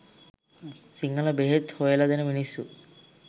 සිංහල බෙහෙත් හොයල දෙන මිනිස්සු